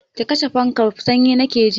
Ki kashe fankan, sanyi nake ji!